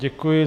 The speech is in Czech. Děkuji.